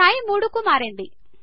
స్థాయి మూడు కు మారింది